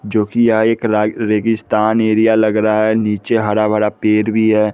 जोकि यह एक रा रेगिस्तान एरिया लग रहा है नीचे हरा भरा पेड़ भी है।